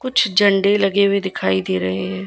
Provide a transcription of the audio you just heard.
कुछ झंडे लगे हुए दिखाई दे रहे हैं।